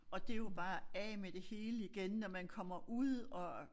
Og det jo bare af med det hele igen når man kommer ud og